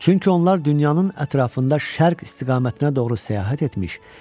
Çünki onlar dünyanın ətrafında şərq istiqamətinə doğru səyahət etmişdilər.